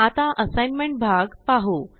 आता साइग्नमेंट भाग पाहु